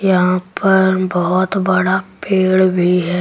यहां पर बहुत बड़ा पेड़ भी है।